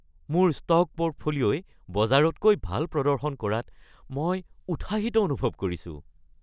মোৰ ষ্ট'ক পৰ্টফলিঅ'ই বজাৰতকৈ ভাল প্ৰদৰ্শন কৰাত মই উৎসাহিত অনুভৱ কৰিছোঁ।